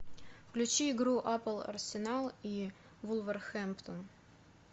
включи игру апл арсенал и вулверхэмптон